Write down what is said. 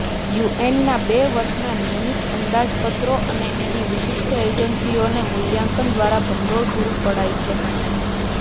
યુએનના બે વર્ષના નિયમિત અંદાજપત્રો અને તેની વિશિષ્ટ એજન્સીઓને મૂલ્યાંકન દ્વારા ભંડોળ પૂરુ પડાય છે